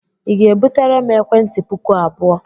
Ị ga-ebutere m ekwentị puku abụọ?